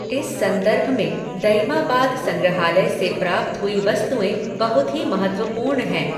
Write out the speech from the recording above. इस संदर्भ में दइमाबाद संग्रहालय से प्राप्त हुई वस्तुएं बहुत ही महत्त्वपूर्ण हैं।